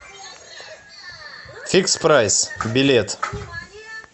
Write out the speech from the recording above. фикс прайс билет